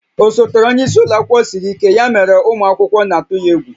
Osote onye isi ụlọ akwụkwọ siri ike, ya mere na ụmụ akwụkwọ na-atụ ya egwu